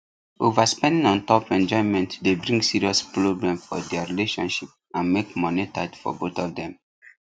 overspending un top enjoyment dey bring serious problem for their relationship and make money tight for both of them